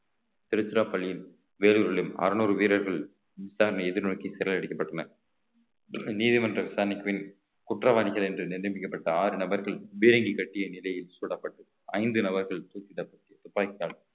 திருச்சிராப்பள்ளியில் வேலூரிலும் அறுநூறு வீரர்கள் விசாரணை எதிர்நோக்கி சிறையில் அடைக்கப்பட்டனர் நீதிமன்ற விசாரணைக்கு பின் குற்றவாளிகள் என்று நியமிக்கப்பட்ட ஆறு நபர்கள் பீரங்கி கட்டிய நிலையில் சுடப்பட்டு ஐந்து நபர்கள் தூக்கிடப்பட்டு துப்பாக்கி~